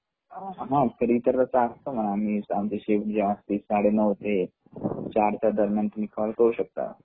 हा तर इतरत असतो मी आमची शिफ्ट जी असते साडे नऊ ते चार च्या दर म्यान तुम्ही काँल करू शकता